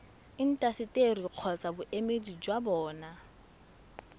intaseteri kgotsa boemedi jwa bona